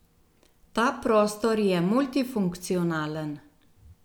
Ta prostor je multifunkcionalen.